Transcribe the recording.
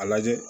A lajɛ